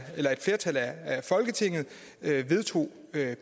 folketinget vedtog